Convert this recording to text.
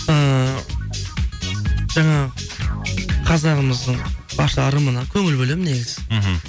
ыыы жаңағы қазағымыздың барша ырымына көңіл бөлемін негізі мхм